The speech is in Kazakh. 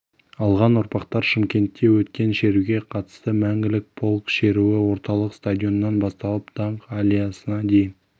алған ұрпақтар шымкентте өткен шеруге қатысты мәңгілік полк шеруі орталық стадионнан басталып даңқ аллеясына дейін